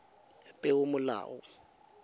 peomolao